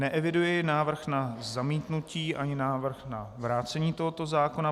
Neeviduji návrh na zamítnutí ani návrh na vrácení tohoto zákona.